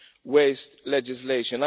waste legislation.